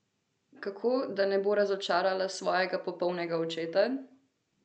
Kako, da ne bo razočarala svojega popolnega očeta?